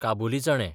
काबुली चणे